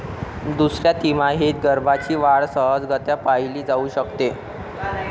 दुसऱ्या तिमाहीत गर्भाची वाढ सहजगत्या पहिली जाऊ शकते.